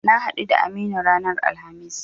Na haɗu da Aminu ranar Alhamis.